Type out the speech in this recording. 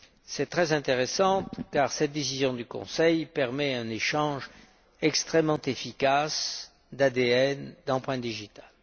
C'est très intéressant car cette décision du Conseil permet un échange extrêmement efficace d'ADN et d'empreintes digitales.